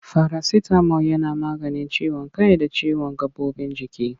Farasitamol yana maganin ciwon kai da ciwon gaɓoɓin jiki.